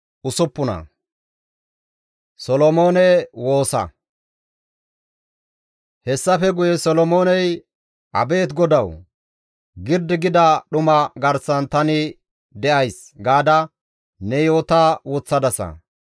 Hessafe guye Solomooney, «Abeet GODAWU! ‹Girdi gida dhuma garsan tani de7ays› gaada ne yoota woththadasa.